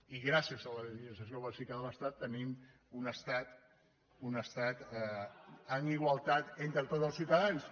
i gràcies a la legislació bàsica de l’estat tenim un estat amb igualtat entre tots els ciutadans